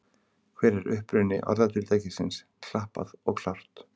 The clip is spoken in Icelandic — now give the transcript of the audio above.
Hver er uppruni orðatiltækisins klappað og klárt?